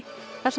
þar sem